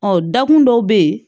Ɔ dakun dɔw be yen